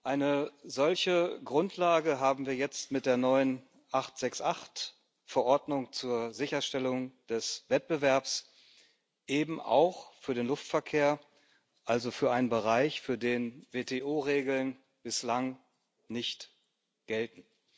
Eine solche Grundlage haben wir jetzt mit der neuen 868 Verordnung zur Sicherstellung des Wettbewerbs eben auch für den Luftverkehr, also für einen Bereich, für den WTO Regeln bislang nicht gelten.